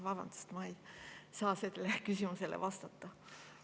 Vabandust, ma ei saa sellele küsimusele vastata!